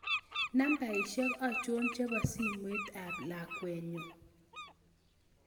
Nambaisyek achon chebo simoit ab lakwenyun